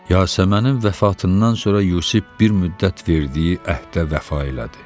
Yasəmənin vəfatından sonra Yusif bir müddət verdiyi əhdə vəfa elədi.